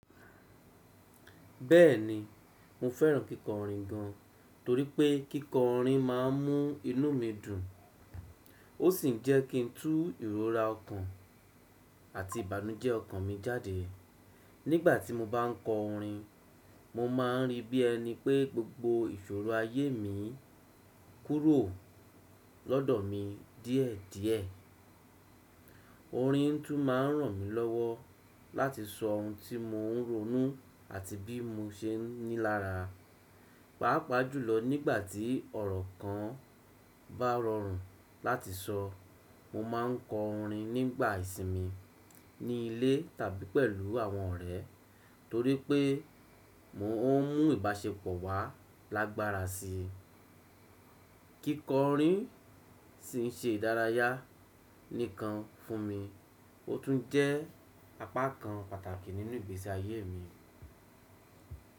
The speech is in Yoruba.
Bẹ́ẹ̀ni, mo fẹ́ràn kíkọ orin gan, torí pé kíkọ orin máà ń mú inú mi dùn. Ó sì ń jẹ́ kí n tú ìrora ọkàn àti ìbànújẹ́ ọkàn mi jáde. Nígbà tí mo bá ń kọ orin, mo máa ń rí bí ẹni pé gbogbo ìṣòro ayé mi kúrò lọ́dọ̀ mi díẹ̀díẹ̀. Orin tún ma ń ràn mí lọ́wọ́ láti sọ ohun tí mò ń ronú àti bí mo ṣe ń ní lára. Pàápàá jùlọ nígbà tí ọ̀rọ̀ kan bá rọrùn láti sọ. Mo máa ń kọ orin nígbà ìsinmi, ní ilé tàbí pẹ̀lú àwọn ọ̀rẹ́, torí pé mò ń mú ìbáṣepọ̀ wà lágbára si. Kíkọ orin ṣín ṣe idárayá nìkan fún mi, ó tún jẹ́ apá kan pàtàkì nínú ìgbésí ayé mi.